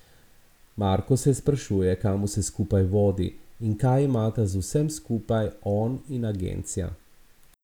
Marko se sprašuje, kam vse skupaj vodi in kaj imata z vsem skupaj on in agencija.